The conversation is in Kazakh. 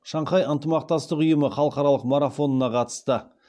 шанхай ынтымақтастық ұйымы халықаралық марафонына қатысты